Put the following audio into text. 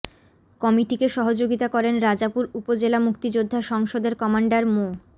কমিটিকে সহযোগিতা করেন রাজাপুর উপজেলা মুক্তিযোদ্ধা সংসদের কমান্ডার মো